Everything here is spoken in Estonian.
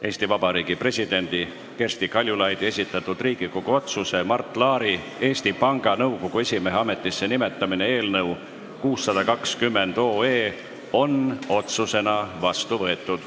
Eesti Vabariigi presidendi Kersti Kaljulaidi esitatud Riigikogu otsuse "Mart Laari Eesti Panga Nõukogu esimehe ametisse nimetamine" eelnõu 620 on otsusena vastu võetud.